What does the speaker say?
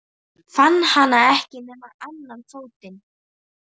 Fann hann ekki nema annan fótinn á þér?